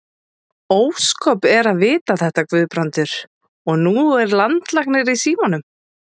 Ósköp eru að vita þetta, Guðbrandur, og nú er landlæknir í símanum.